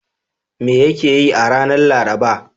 Me yake yi a ranar Laraba?